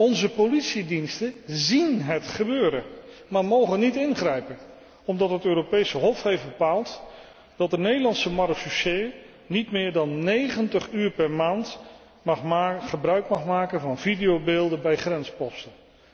Onze politiediensten zien het gebeuren, maar mogen niet ingrijpen, omdat het Europese Hof heeft bepaald dat de Nederlandse marechaussee niet meer dan negentig uur per maand gebruik mag maken van videobeelden bij grensposten.